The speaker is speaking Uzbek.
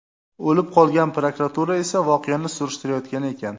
o‘lib qolgan, prokuratura esa voqeani surishtirayotgan ekan.